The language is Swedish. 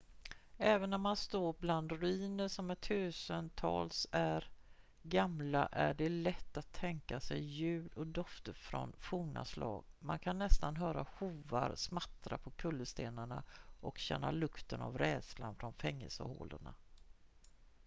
även när man står bland ruiner som är tusentals är gamla är det lätt att tänka sig ljud och dofter från forna slag man kan nästan höra hovar smattra på kullerstenarna och känna lukten av rädslan från fängelsehålorna